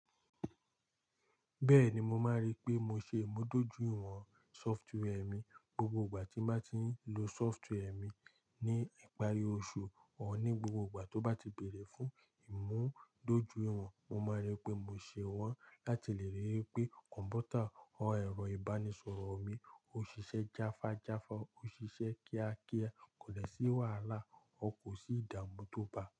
Bẹ́ẹ̀ni, mo máa rí pé mo ṣe ìmúdójúìwọ̀n sọftware mi gbogbo ìgbà tí bà ti ń lo sọftware mi ní ìparí oṣù ọ́n ní gbogbo ìgbà tó bá ti bẹ̀rẹ̀ fún ìmúdójúìwọ̀n, mo máa rí pé mo ṣe wọ́n láti lè rí i pé kọ̀m̀pútà ọ́n ẹ̀rọ ìbánisọ̀rọ̀ mi ò ṣiṣẹ́ jáfájáfa, ò ṣiṣẹ́ kíákíá, kò dé sí wàhálà, ò kò sí ìdààmú tó bá.